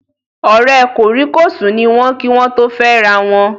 Ọ̀rẹ́ kòríkòsùn ni wọ́n kí wọ́n tó fẹ́rawọn